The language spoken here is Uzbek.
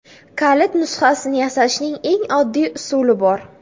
Kalit nusxasini yasashning eng oddiy usuli bor.